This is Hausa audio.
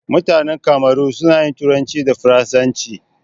Mutanan Kamaru suna turanci da faransanci.